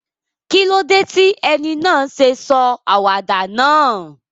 Kílódé ti eni náà sé sọ àwàdà náà?